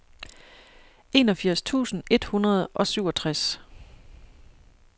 enogfirs tusind et hundrede og syvogtres